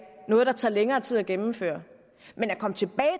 noget der tager længere tid at gennemføre men at komme tilbage